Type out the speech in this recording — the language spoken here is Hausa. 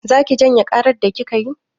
Za ki janye ƙarar da kika yi?